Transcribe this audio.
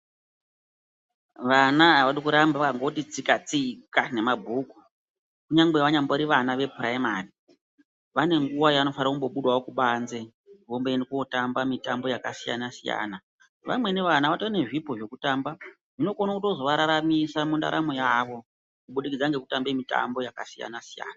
Vana havadi kuramba vakangoti tsika-tsika ngemabhuku. Kunyangwe vanyambori vana yepuraimari vane nguva yavanofanira kumbobudawo kubanze vomboenda kotamba mitambo yakasiyana-siyana. Vamweni vana vatorine zvipo zvekutamba zvinokona kutozovararamisa mundaramo yavo kubudikidza ngekutamba mitambo yakasiyana-siyana.